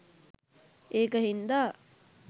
ඒක හින්දා